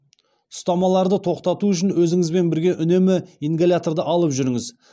ұстамаларды тоқтату үшін өзіңізбен бірге үнемі ингаляторды алып жүріңіз